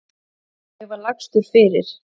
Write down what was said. Ég var lagstur fyrir.